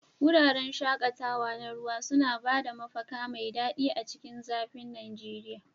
Wuraren shaƙatawa na ruwa suna ba da mafaka mai daɗi a cikin zafin Najeriya.